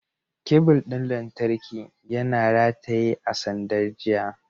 Kebul ɗin lantarki yana rataye a sandar jiya.